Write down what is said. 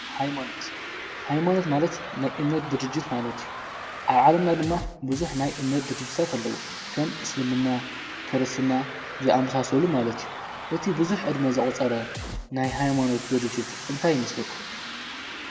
ሃይማኖት ሃይማኖት ማለት ናይ እምነት ድርጅት ማለት እዩ ኣብዓለምና ድማ ብዙሕ ናይ እምነት ድርጅታት ኣለዉ ከም እስልምና ክርስትና ዝኣመሳሰሉ ማለት እዩ እቲ ብዙሕ ዕድመ ዝቖፀረ ናይ ሃይማኖት ድርጅት እንታይ ይመስለኩም?